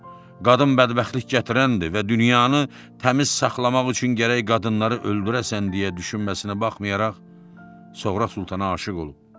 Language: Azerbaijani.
Qadın bədbəxtlik gətirəndir və dünyanı təmiz saxlamaq üçün gərək qadınları öldürəsən deyə düşünməsinə baxmayaraq, Soğra Sultana aşiq olub.